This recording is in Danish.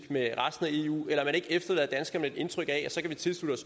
med resten af eu eller at man ikke efterlader danskerne med et indtryk af at så kan vi tilslutte